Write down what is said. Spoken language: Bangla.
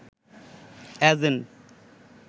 এজেন্ট